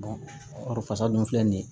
fasa dun filɛ nin ye